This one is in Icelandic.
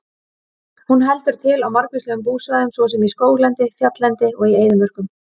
Hún heldur til á margvíslegum búsvæðum svo sem í skóglendi, fjalllendi og í eyðimörkum.